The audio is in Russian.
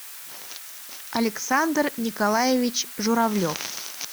александр николаевич журавлев